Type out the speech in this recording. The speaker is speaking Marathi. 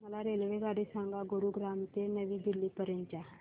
मला रेल्वेगाडी सांगा गुरुग्राम ते नवी दिल्ली पर्यंत च्या